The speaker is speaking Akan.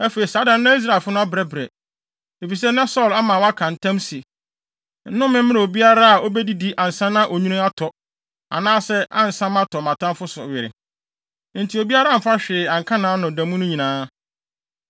Afei, saa da no na Israelfo no abrɛbrɛ, efisɛ na Saulo ama wɔaka ntam se, “Nnome mmra obiara a obedidi ansa na onwini atɔ, anaasɛ ansa matɔ mʼatamfo no so were.” Enti obiara amfa hwee anka nʼano da mu no nyinaa,